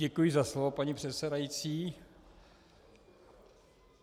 Děkuji za slovo, paní předsedající.